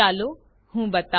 ચાલો હું બતાઉ